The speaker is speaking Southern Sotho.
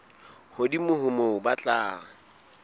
hodimo ho moo ba tla